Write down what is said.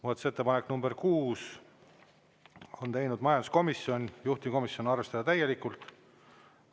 Muudatusettepaneku nr 6 on teinud majanduskomisjon, juhtivkomisjon: arvestada täielikult.